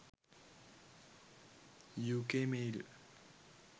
uk mail